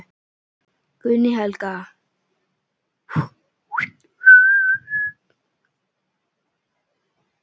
Guðný Helga: Eru þetta háar fjárhæðir í þessum málum?